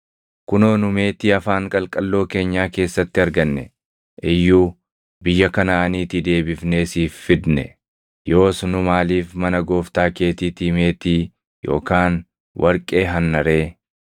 Kunoo nu meetii afaan qalqalloo keenyaa keessatti arganne iyyuu biyya Kanaʼaaniitii deebifnee siif fidne. Yoos nu maaliif mana gooftaa keetiitii meetii yookaan warqee hanna ree?